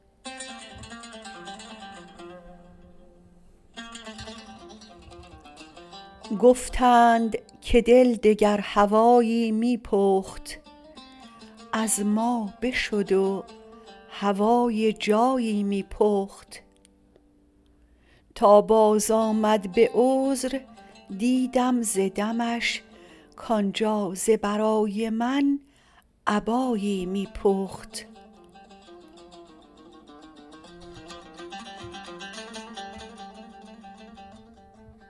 گفتند که دل دگر هوایی می پخت از ما بشد و هوای جایی می پخت تا باز آمد به عذر دیدم ز دمش کانجا ز برای من ابایی می پخت